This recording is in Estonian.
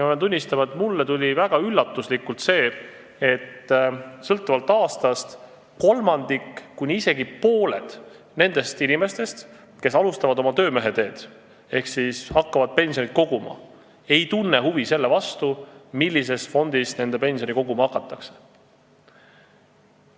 Ma pean tunnistama, mulle tuli väga suure üllatusena see, et sõltuvalt aastast kolmandik kuni isegi pooled nendest inimestest, kes alustavad oma töömeheteed ehk hakkavad pensioni koguma, ei tunne huvi selle vastu, millises fondis nende pensioni koguma hakatakse.